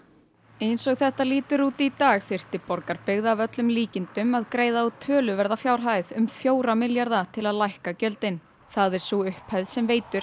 eins og þetta lítur út í dag þyrfti Borgarbyggð að öllum líkindum að greiða út töluverða fjárhæð um fjóra milljarða til að lækka gjöldin það er sú upphæð sem Veitur